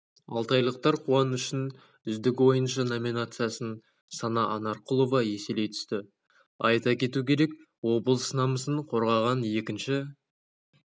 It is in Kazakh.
алтайлықтар қуанышын үздік ойыншы номинациясын сана анарқұлова еселей түсті айта кету керек облыс намысын қорғаған екінші